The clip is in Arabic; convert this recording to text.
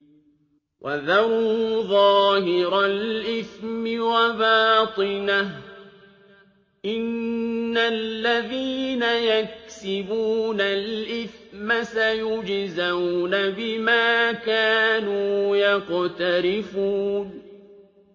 وَذَرُوا ظَاهِرَ الْإِثْمِ وَبَاطِنَهُ ۚ إِنَّ الَّذِينَ يَكْسِبُونَ الْإِثْمَ سَيُجْزَوْنَ بِمَا كَانُوا يَقْتَرِفُونَ